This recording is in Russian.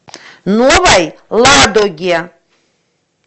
новой ладоге